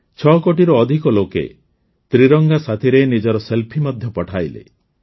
୬ କୋଟିରୁ ଅଧିକ ଲୋକେ ତ୍ରିରଙ୍ଗା ସାଥୀରେ ନିଜର ସେଲ୍ଫି ମଧ୍ୟ ପଠାଇଲେ